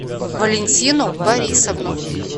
валентину борисовну